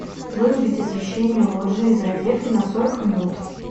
вырубить освещение лоджии из розетки на сорок минут